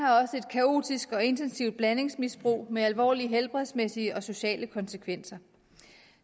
kaotisk og intensivt blandingsmisbrug med alvorlige helbredsmæssige og sociale konsekvenser